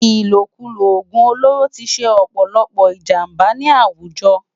Ilókúló ógún ólóró ti sé òpòlòpò ijàmbá ni áwújò